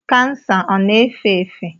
Kansa ọ na-efe efe?